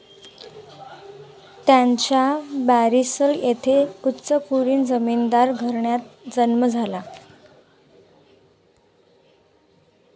त्यांचा बॅरिसल येथे उच्चकुलीन जमीनदार घराण्यात जन्म झाला.